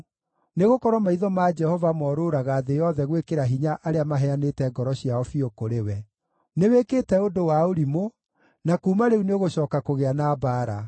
Nĩgũkorwo maitho ma Jehova morũũraga thĩ yothe gwĩkĩra hinya arĩa maheanĩte ngoro ciao biũ kũrĩ we. Nĩwĩkĩte ũndũ wa ũrimũ, na kuuma rĩu nĩũgũcooka kũgĩa na mbaara.”